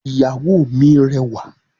Ìyàwó mi rẹwà